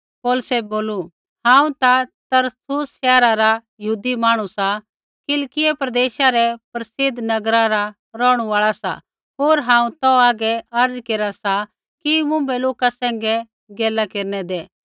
पौलुसै बोलू हांऊँ ता तरसुसा शैहरा रा यहूदी मांहणु सा किलिकियै प्रदेशा रै प्रसिद्ध नगरा रा रौहणु आल़ा सा होर हांऊँ तौ हागै अर्ज़ केरा सा कि मुँभै लोका सैंघै गैला केरनै दै